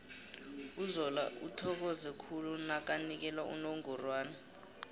uzola uthokoze khulu nakanikela unongorwana